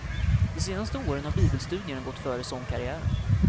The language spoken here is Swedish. De senaste åren har bibelstudierna gått före sångkarriären.